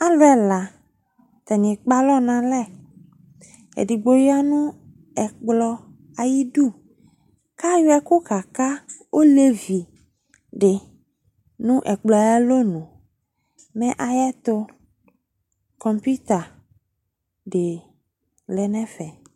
Alu ɛla Atani ekpalɔ nalɛEdigbo yanu ɛkplɔ ayidu, kayɔ ɛkʋ kaka ɔlevi di nʋ ɛkplɔɛ ayalɔnuMɛ ayɛtu komputer di lɛ nɛfɛ